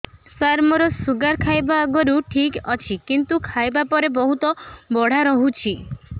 ସାର ମୋର ଶୁଗାର ଖାଇବା ଆଗରୁ ଠିକ ଅଛି କିନ୍ତୁ ଖାଇବା ପରେ ବହୁତ ବଢ଼ା ରହୁଛି